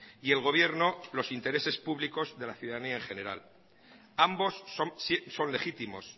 y el gobierno los intereses públicos de la ciudadanía en general ambos son legítimos